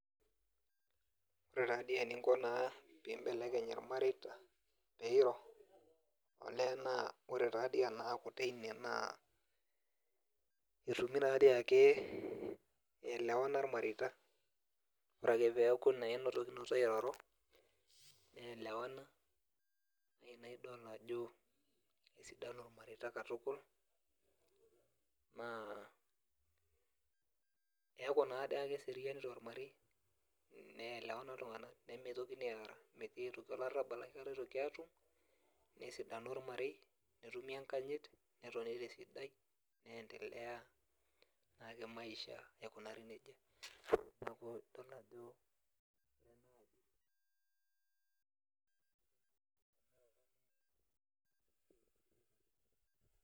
Ore tadii eninko naa pibelekeny irmareita, peiro, olee naa ore tadi enaaku teine naa, etumi tadi ake elewana irmareita, ore ake peku naa enotokinote airoro, nelewana, na idol ajo inesidano ormareita katukul, naa, keku nadiake si kereto ormarei, nelewana iltung'anak, nimitokini arr metii olarrabal akata oitikini atum, nesidanu ormarei, netumi enkanyit, netoni tesidai, nendelea naake maisha aikunari nejia. Neeku idol ajo